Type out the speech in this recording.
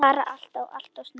Bara alltof, alltof snemma.